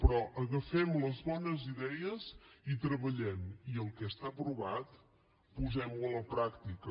però agafem les bones idees i treballem i el que està aprovat posem ho a la pràctica